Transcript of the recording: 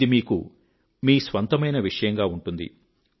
ఇది మీకు మీ స్వంతమైన విషయంగా ఉంటుంది